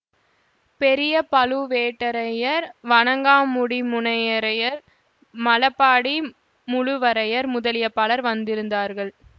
பெரிய பழுவேட்டரையர் வணங்காமுடிமுனையரையர் மழபாடி முழுவரையர் முதலிய பலர் வந்திருந்தார்கள்